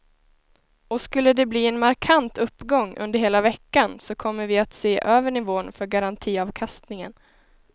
Och skulle de bli en markant uppgång under hela veckan så kommer vi att se över nivån för garantiavkastningen.